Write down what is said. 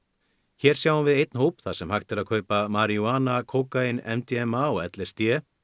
hér sjáum við einn hóp þar sem hægt er að kaupa maríjúana kókaín MDMA og l s d